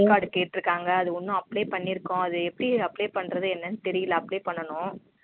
Aadhar card கேட்டுருக்காங்க அத ஒன்னும் apply பண்ணியிருக்கோம் அத எப்பிடி apply பண்றது என்னனு தெரியல apply பண்ணனும்